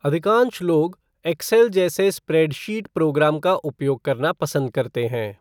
अधिकांश लोग एक्सेल जैसे स्प्रेडशीट प्रोग्राम का उपयोग करना पसंद करते हैं।